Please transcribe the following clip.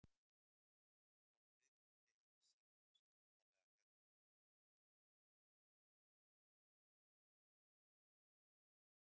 Hvort viðkomandi hefði sýnt af sér undarlega hegðun á einhvern hátt?